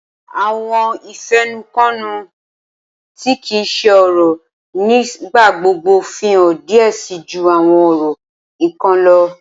Awọn ifẹnukonu ti kii ṣe ọrọ nigbagbogbo fihan diẹ sii ju awọn ọrọ nikan lọ.